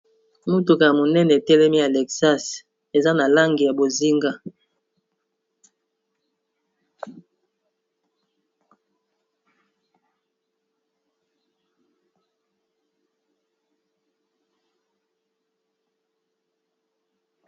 Motuka ya monene e telemi Alexas, eza na langi ya bozinga .